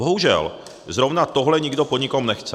Bohužel zrovna tohle nikdo po nikom nechce.